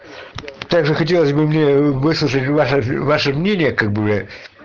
тоже хотелось бы мне выслушать ваше мнение как бы